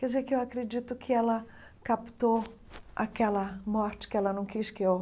Quer dizer que eu acredito que ela captou aquela morte que ela não quis que eu